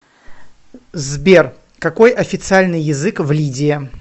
сбер какой официальный язык в лидия